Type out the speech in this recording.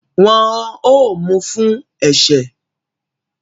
Wọ́n ó mu fún ẹ̀ṣẹ̀